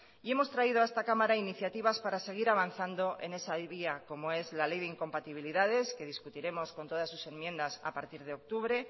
y hemos traído a esta cámara iniciativas para seguir avanzando en esa vía como es la ley de incompatibilidades que discutiremos con todas sus enmiendas a partir de octubre